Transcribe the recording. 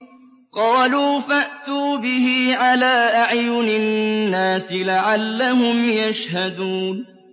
قَالُوا فَأْتُوا بِهِ عَلَىٰ أَعْيُنِ النَّاسِ لَعَلَّهُمْ يَشْهَدُونَ